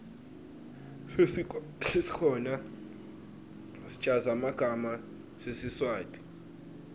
sesikhona schaza magama sesiswati